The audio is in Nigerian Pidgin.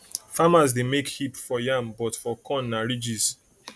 farmers dey make hip for yam but for corn na ridges